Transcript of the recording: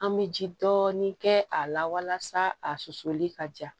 An bɛ ji dɔɔnin kɛ a la walasa a susuli ka jan